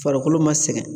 Farikolo ma sɛgɛn